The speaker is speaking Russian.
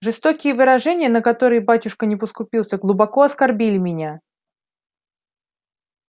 жестокие выражения на которые батюшка не поскупился глубоко оскорбили меня